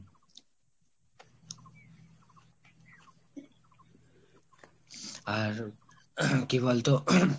আর কি বলতো ;